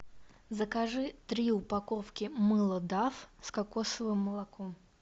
закажи три упаковки мыла даф с кокосовым молоком